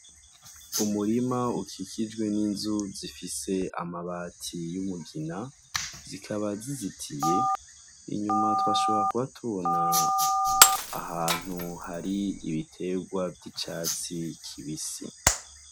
Umurima ukikijwe n'inzu zifise amabati y'umugina zikaba zizitiye inyuma twashobora kubatubona ahantu hari ibiterwa vy'icatsi kibisi.